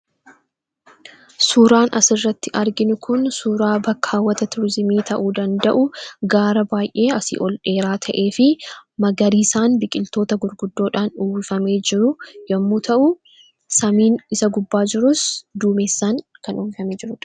Suuraan as irratti arginuu kun suuraa baakka hawwataa Turizimii ta'uu danda'u garaa baay'ee asi ol dheeraa ta'eefi Magariisaan, biqiltoota gurguddoodhaan uwwifamee jiruu yommuu ta'u, Saamiin isa gubbaa jiruus duumeessaan uwwifamee kan jiruudha.